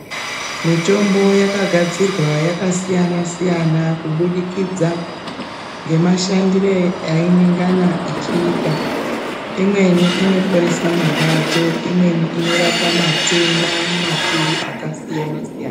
Mitombo yakagadzirwa yakasiyana siyana kubudikidza nemashandiro ainenge ichiita imweni inoporesa marwadzo imweni inorapa matenda makuru akasiyana siyana.